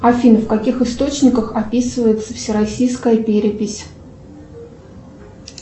афина в каких источниках описывается всероссийская перепись